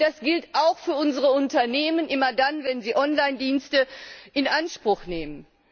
Das gilt auch für unsere Unternehmen immer dann, wenn sie Onlinedienste in Anspruch nehmen.